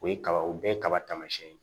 O ye kaba o bɛɛ ye kaba taamasiyɛn ye